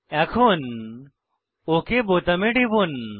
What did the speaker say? এখন ওক বোতামে টিপুন